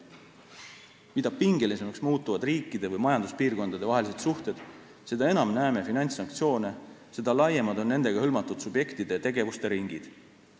" Mida pingelisemaks muutuvad riikide või majanduspiirkondade vahelised suhted, seda enam näeme finantssanktsioone, seda laiemad on nendega hõlmatud subjektide tegevuste ringid.